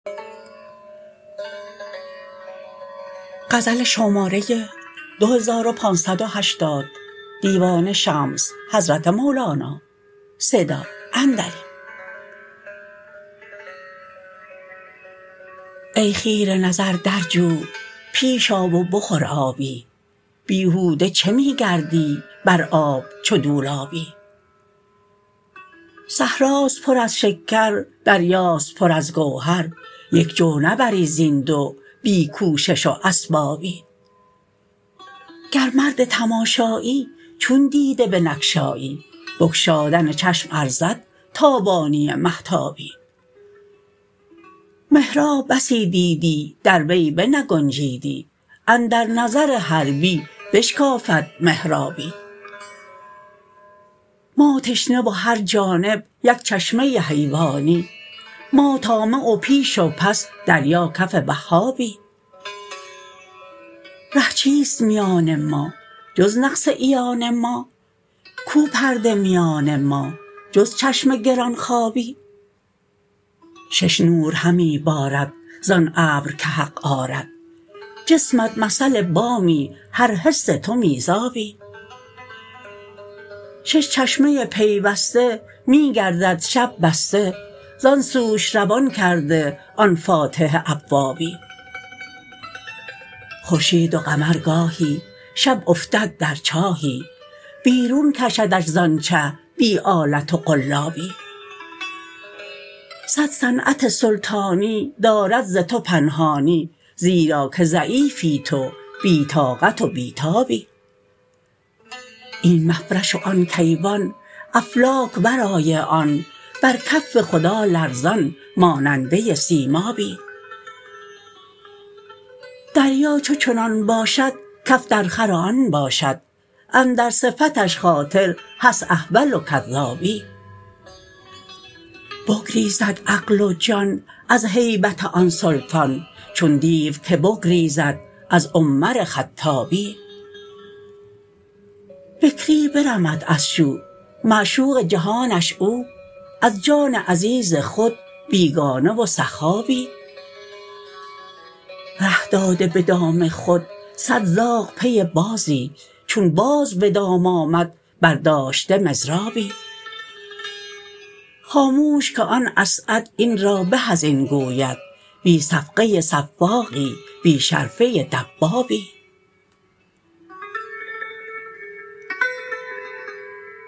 ای خیره نظر در جو پیش آ و بخور آبی بیهوده چه می گردی بر آب چو دولابی صحراست پر از شکر دریاست پر از گوهر یک جو نبری زین دو بی کوشش و اسبابی گر مرد تماشایی چون دیده بنگشایی بگشادن چشم ارزد تابانی مهتابی محراب بسی دیدی در وی بنگنجیدی اندر نظر حربی بشکافد محرابی ما تشنه و هر جانب یک چشمه حیوانی ما طامع و پیش و پس دریا کف وهابی ره چیست میان ما جز نقص عیان ما کو پرده میان ما جز چشم گران خوابی شش نور همی بارد زان ابر که حق آرد جسمت مثل بامی هر حس تو میزانی شش چشمه پیوسته می گردد شب بسته زان سوش روان کرده آن فاتح ابوابی خورشید و قمر گاهی شب افتد در چاهی بیرون کشدش زان چه بی آلت و قلابی صد صنعت سلطانی دارد ز تو پنهانی زیرا که ضعیفی تو بی طاقت و بی تابی این مفرش و آن کیوان افلاک ورای آن بر کف خدا لرزان ماننده سیمابی دریا چو چنان باشد کف درخور آن باشد اندر صفتش خاطر هست احول و کذابی بگریزد عقل و جان از هیبت آن سلطان چون دیو که بگریزد از عمر خطابی بکری برمد از شو معشوق جهانش او از جان عزیز خود بیگانه و صخابی ره داده به دام خود صد زاغ پی بازی چون باز به دام آمد برداشته مضرابی خاموش که آن اسعد این را به از این گوید بی صفقه صفاقی بی شرفه دبابی